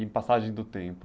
E passagem do tempo.